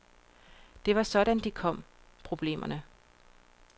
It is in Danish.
Det var sådan de kom, problemerne.